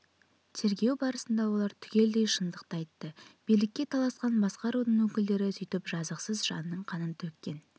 тергеу барысында олар түгелдей шындықты айтты билікке таласқан басқа рудың өкілдері сөйтіп жазықсыз жанның қанын төккен